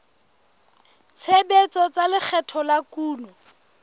tshebetso tsa lekgetho la kuno